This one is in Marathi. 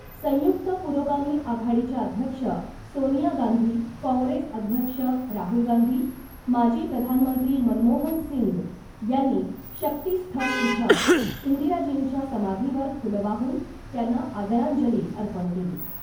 संयुक्त पुरोगामी आघाडीच्या अध्यक्ष सोनिया गांधी , काँग्रेस अध्यक्ष राहुल गांधी , माजी प्रधानमंत्री मनमोहन सिंग यांनी शक्तिस्थल इथं इंदिराजींच्या समाधीवर फुलं वाहून त्यांना आदरांजली अर्पण केली .